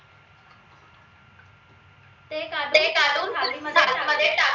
ते काढून थाली मध्ये टाकले